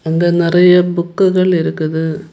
இங்க நெறைய புக்குகள் இருக்குது.